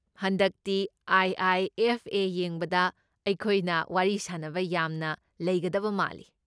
ꯍꯟꯗꯛꯇꯤ ꯑꯥꯏ.ꯑꯥꯏ.ꯑꯦꯐ.ꯑꯦ. ꯌꯦꯡꯕꯗ ꯑꯩꯈꯣꯏꯅ ꯋꯥꯔꯤ ꯁꯥꯅꯕ ꯌꯥꯝꯅ ꯂꯩꯒꯗꯕ ꯃꯥꯜꯂꯤ꯫